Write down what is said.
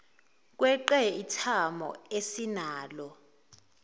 kweqe ithamo esinalo